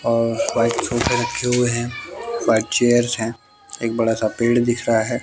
और छोटे रखे हुए है बैक चेयर हैं एक बड़ा सा पेड़ दिख रहा है।